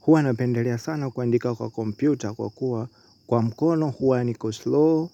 Huwa napendelea sana kuandika kwa kompyuta kwa kuwa kwa mkono huwa niko slow.